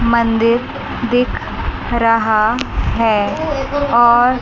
मंदिर दिख रहा है और--